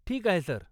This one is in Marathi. ठीक आहे, सर.